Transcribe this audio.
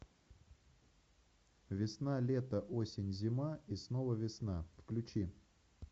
весна лето осень зима и снова весна включи